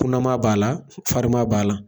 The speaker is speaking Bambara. Kunanma b'a la, farima b'a la.